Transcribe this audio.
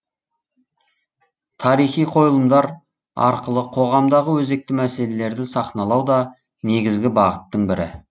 тарихи қойылымдар арқылы қоғамдағы өзекті мәселелерді сахналау да негізгі бағыттың бірі